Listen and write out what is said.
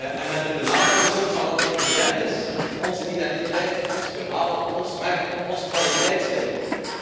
En met het benadrukken ook van wat evident is onze identiteit, ons verhaal, ons merk, ons kwaliteitslabel.